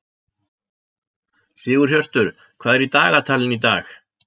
Sigurhjörtur, hvað er í dagatalinu í dag?